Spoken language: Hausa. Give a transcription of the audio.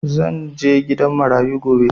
Zan je gidan marayu gobe